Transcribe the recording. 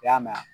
I y'a mɛn